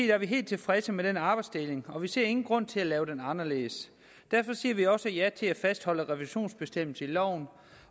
er vi helt tilfredse med den arbejdsdeling og vi ser ingen grund til at lave den om derfor siger vi også ja til at fastholde revisionsbestemmelsen i loven